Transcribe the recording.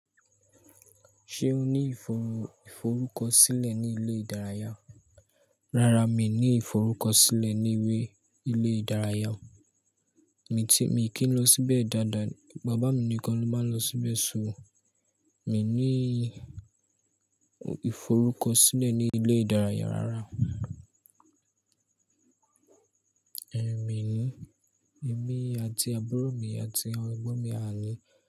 Ṣé o ní ìforú, íforukọsílẹ̀ ní ilé ìdárayá? Rárá, mi ní ìforúkọsílẹ̀ ní ilé ilé ìdárayá. Mi kì n lọ síbẹ̀ dáadáa. Bàbá mi nìkan ló máa ń lọ síbẹ̀ ṣúù. Mi ní ìforúkọsílẹ̀ ní ilé ìdárayá rárá. Èmi ni, èmi àti àbúrò mi àti àwọn ẹ̀gbọ́n mi àná.